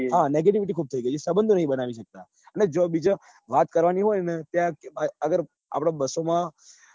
હા negativity ખુબ થઇ ગઈ. સબંધો નઈ બનાવી સકતા એટલે જ્યાં બીજે ત્યાં વાત કરવા ની હોય ને આપડે બસો માં